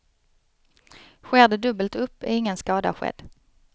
Sker det dubbelt upp, är ingen skada skedd.